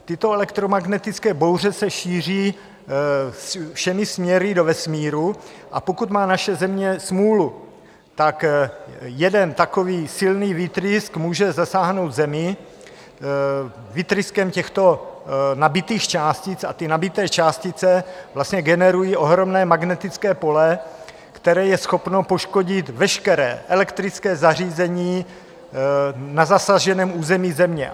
Tyto elektromagnetické bouře se šíří všemi směry do vesmíru, a pokud má naše Země smůlu, tak jeden takový silný výtrysk může zasáhnout Zemi výtryskem těchto nabitých částic a ty nabité částice vlastně generují ohromné magnetické pole, které je schopno poškodit veškeré elektrické zařízení na zasaženém území Země.